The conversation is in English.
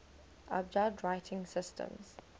abjad writing systems